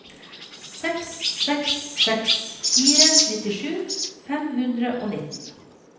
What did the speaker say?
seks seks seks fire nittisju fem hundre og nitten